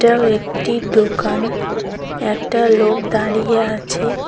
এটাও একটি দোকান একটা লোক দাঁড়িয়ে আছে।